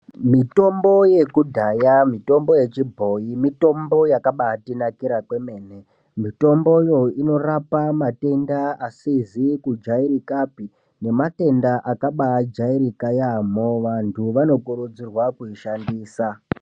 Mitombo yekudhaya mitombo yechibhoyi mitombo yakabatinakira kwemene . Mitombo yoo inorapa matenda asizi kujairikapi nematenda akaba jairika yamho vantu vanokurudzirwa kuishandisa .